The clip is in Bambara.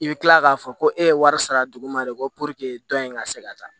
I bɛ tila k'a fɔ ko e ye wari sara dugu ma de ko dɔn in ka se ka taa